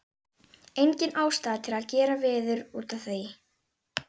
Engin ástæða til að gera veður út af því.